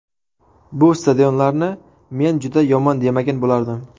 Bu stadionlarni men juda yomon demagan bo‘lardim.